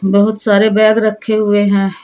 बहुत सारे बैग रखे हुए हैं।